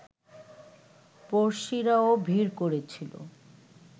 পড়শিরাও ভিড় করেছিল